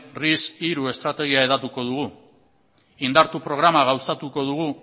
ris hiru estrategia hedatuko dugu indartu programa gauzatuko dugu